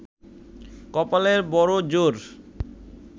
কপালের বড়ো জোর